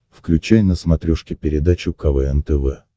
включай на смотрешке передачу квн тв